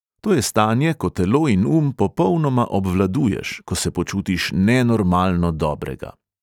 To je stanje, ko telo in um popolnoma obvladuješ, ko se počutiš nenormalno dobrega.